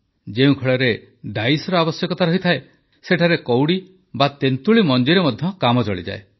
ଯେଉଁ ଖେଳରେ ଡାଇସ୍ର ଆବଶ୍ୟକତା ରହିଥାଏ ସେଠାରେ କଉଡ଼ି ବା ତେନ୍ତୁଳି ମଞ୍ଜିରେ ମଧ୍ୟ କାମ ଚଳିଯାଏ